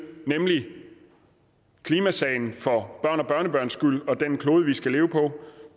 nemlig klimasagen for børn og børnebørns skyld og den klode vi skal leve på